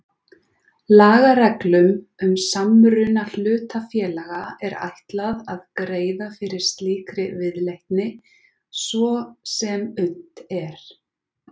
Lagareglum um samruna hlutafélaga er ætlað að greiða fyrir slíkri viðleitni svo sem unnt er.